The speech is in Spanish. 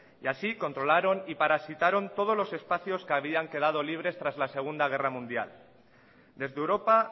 y así controlaron y parasitaron todos los espacios que habían quedado libres tras la segundo guerra mundial desde europa